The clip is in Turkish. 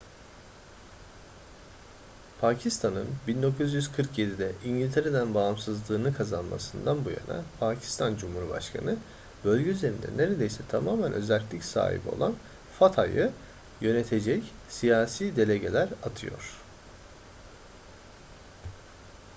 pakistan'ın 1947'de i̇ngiltere’den bağımsızlığını kazanmasından bu yana pakistan cumhurbaşkanı bölge üzerinde neredeyse tamamen özerklik sahibi olan fata'yı yönetecek siyasi delegeler atıyor